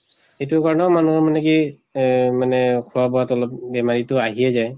এইটোৰ কাৰনেও মানুহৰ মানে কি এহ মানে খোৱা বোৱাত অলপ বেমাৰ ইটো আহিয়ে যায়।